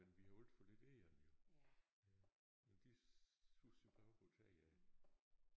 Men vi har alt for lidt egern jo ja men de susede jo bare op på taget af